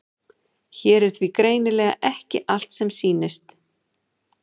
Hér er því greinilega ekki allt sem sýnist.